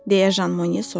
deyə Jan Monye soruşdu.